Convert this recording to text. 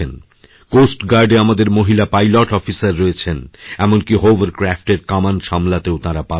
coast গার্ডএ আমাদের মহিলা পাইলট অফিসার রয়েছেন এমনকি হোভারক্র্যাফ্টএরকামান সামলাতেও তাঁরা পারদর্শী